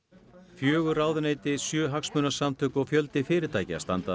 fjögur ráðuneyti sjö hagsmunasamtök og fjöldi fyrirtækja standa að